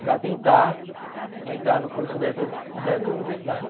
Para tentar entrar no curso dessas dessas universidades.